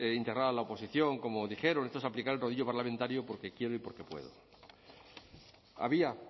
integrar a la oposición como dijeron esto es aplicar el rodillo parlamentario porque quiero y porque puedo había